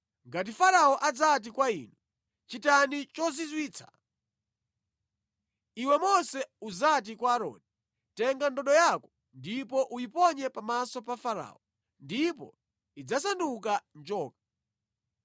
“Ngati Farao adzati kwa inu, ‘Chitani chozizwitsa,’ iwe Mose udzati kwa Aaroni, ‘Tenga ndodo yako ndipo uyiponye pamaso pa Farao,’ ndipo idzasanduka njoka.”